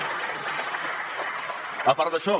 a part d’això